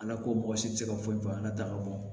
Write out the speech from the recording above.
Ala ko mɔgɔ si tɛ se ka foyi fɔ ala ta ka bɔ